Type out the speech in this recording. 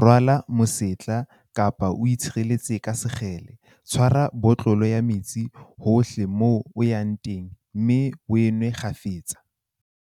Rwala mosetla kapa o itshireletse ka sekgele. Tshwara botlolo ya metsi hohle moo o yang teng mme o a nwe kgafetsa.